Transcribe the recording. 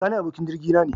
Sani abokin jirgi na ne.